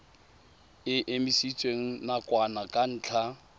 e emisitswe nakwana ka ntlha